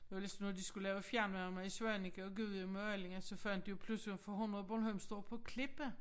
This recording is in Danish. Det var ligesom når de skulle lave fjernvarme i Svaneke og Gudhjem og Allinge så fandt de jo pludselig for hundan Bornholm står på klippe